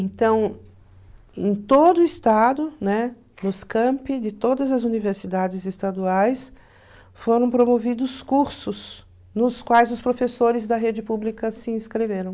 Então, em todo o estado, né, nos campi de todas as universidades estaduais, foram promovidos cursos nos quais os professores da rede pública se inscreveram.